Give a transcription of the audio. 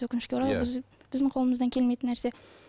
өкінішке орай біз біздің қолымыздан келмейтін нәрсе